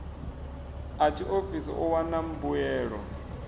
a tshiofisi u wana mbuelo